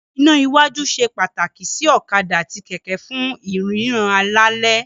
Iná iwájú ṣe pàtàkì sí ọ̀kadà àti kẹ̀kẹ́ fún ìríran lálẹ́.